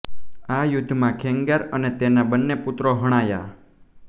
આ યુદ્ધમાં ખેંગાર અને તેના બન્ને પુત્રો હણાયા